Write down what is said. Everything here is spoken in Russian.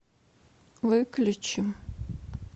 выключи